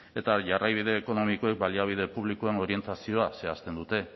eta jarraibide ekonomikoek baliabide publikoen orientazioa zehazten dute